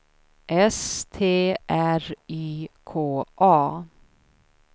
S T R Y K A